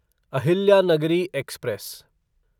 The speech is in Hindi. अहिल्यानगरी एक्सप्रेस